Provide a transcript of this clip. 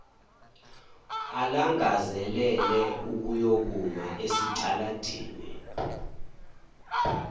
alangazelele ukuyokuma esitaladini